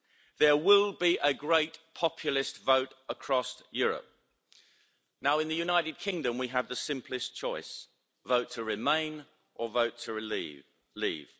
There will be a great populist vote across Europe. In the United Kingdom we have the simplest choice vote to remain or vote to leave.